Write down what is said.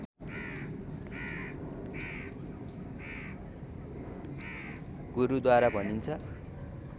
गुरूद्वार भनिन्छ